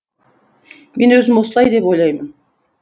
мен өзім осылай деп ойлаймын